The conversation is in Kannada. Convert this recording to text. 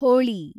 ಹೋಳಿ